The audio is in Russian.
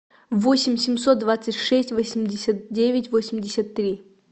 восемь семьсот двадцать шесть восемьдесят девять восемьдесят три